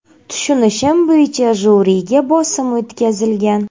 Tushunishim bo‘yicha, jyuriga bosim o‘tkazilgan.